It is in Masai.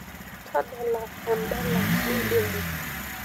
tadala edala nidimu